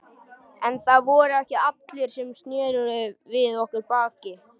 En það voru ekki allir sem sneru við okkur baki.